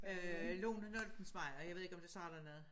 Øh Lone Noltensmejer jeg ved ikke om det siger dig noget